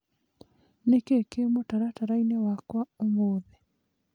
Nĩ kĩĩ kĩĩ mũtaratara-inĩ wakwa ũmũthĩ.?